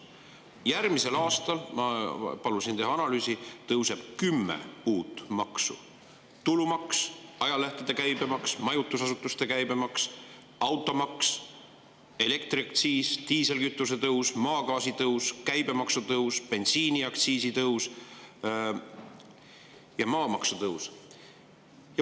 Järgmisel aastal – ma palusin teha analüüsi – tõuseb kümme maksu: tulumaks, ajalehtede käibemaks, majutusasutuste käibemaks, automaks, elektriaktsiis, diislikütuse, maagaasi, käibemaks, bensiiniaktsiis ja maamaks.